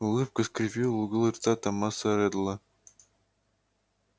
улыбка скривила углы рта томаса реддла